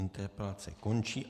Interpelace končí.